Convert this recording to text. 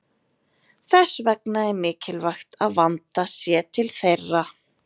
Þess vegna er mikilvægt að vandað sé til þeirra.